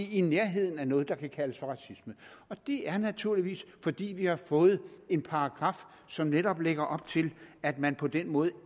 i nærheden af noget der kan kaldes for racisme og det er naturligvis fordi vi har fået en paragraf som netop lægger op til at man på den måde